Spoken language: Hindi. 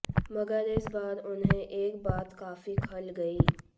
मगर इस बार उन्हें एक बात काफी खल गई